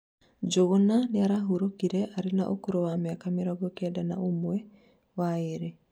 Njuguna nĩarahũrokire arĩ na ũkũrũ wa mĩaka mĩrongo Kenda na ũmwe waĩrĩ